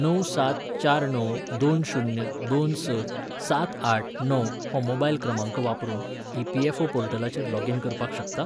णव सात चार णव दोन शुन्य दोन स सात आठ णव हो मोबायल क्रमांका वापरून ईपीएफओ पोर्टलाचेर लॉगिन करपाक शकतां?